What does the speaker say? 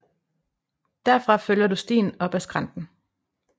Derfra følger du stien op af skrænten